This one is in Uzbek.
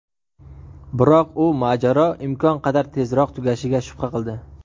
biroq u mojaro imkon qadar tezroq tugashiga shubha qildi.